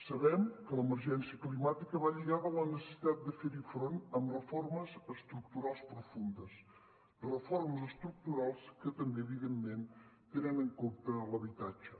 sabem que l’emergència climàtica va lligada a la necessitat de fer hi front amb reformes estructurals profundes reformes estructurals que també evidentment tenen en compte l’habitatge